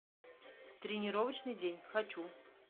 тренировочный день хочу